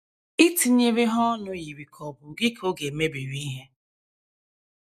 Itinyere ha ọnụ yiri ka ọ̀ bụ gị ka ọ ga - emebiri ihe.